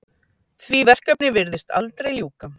Því verkefni virðist aldrei ljúka.